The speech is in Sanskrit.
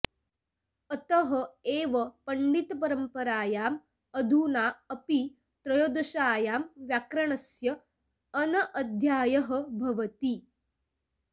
अतः एव पण्डितपरम्परायाम् अधुना अपि त्रयोदश्यां व्याकरणस्य अनध्यायः भवति